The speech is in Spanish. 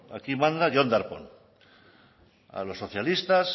aquí manda jon darpón a los socialistas